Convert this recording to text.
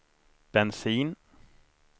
bensin